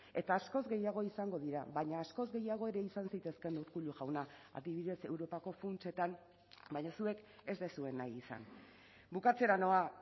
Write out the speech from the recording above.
eta askoz gehiago izango dira baina askoz gehiago ere izan zitezkeen urkullu jauna adibidez europako funtsetan baina zuek ez duzue nahi izan bukatzera noa